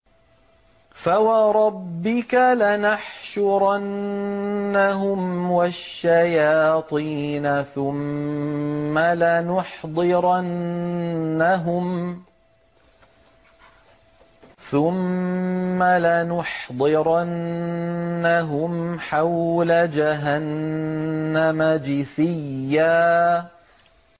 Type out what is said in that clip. فَوَرَبِّكَ لَنَحْشُرَنَّهُمْ وَالشَّيَاطِينَ ثُمَّ لَنُحْضِرَنَّهُمْ حَوْلَ جَهَنَّمَ جِثِيًّا